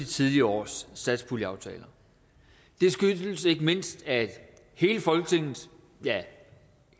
tidligere års satspuljeaftaler det skyldes ikke mindst at hele folketinget ja